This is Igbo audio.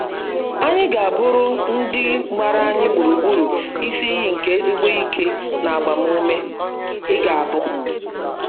Anyị ga - abụrụ ndị gbara anyị gburugburu isi iyi nke ezIgbo ike na agbamume .i ga abu